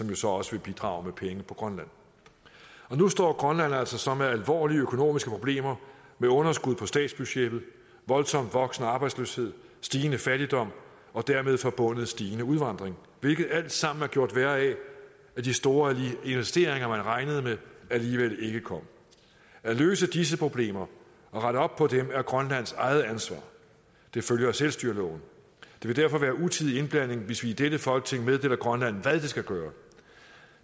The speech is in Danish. jo så også vil bidrage med penge på grønland nu står grønland altså så med alvorlige økonomiske problemer med underskud på statsbudgettet voldsomt voksende arbejdsløshed stigende fattigdom og dermed forbundet stigende udvandring hvilket alt sammen er gjort værre af at de store investeringer man regnede med alligevel ikke kom at løse disse problemer og rette op på dem er grønlands eget ansvar det følger selvstyreloven det vil derfor være utidig indblanding hvis vi i dette folketing meddeler grønland hvad det skal gøre